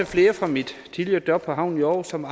flere fra mit tidligere job på havnen i aarhus som